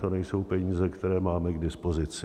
To nejsou peníze, které máme k dispozici.